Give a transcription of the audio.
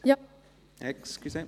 SAFG in der Gesamtabstimmung